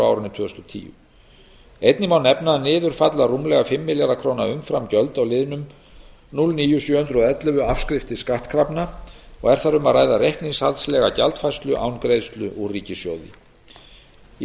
árinu tvö þúsund og tíu einnig má nefna að niður falla rúmlega fimm milljarða króna umframgjöld á liðnum núll níu til sjö hundruð og ellefu afskriftir skattkrafna og er þar um að ræða reikningshaldslega gjaldfærslu án greiðslu úr ríkissjóði í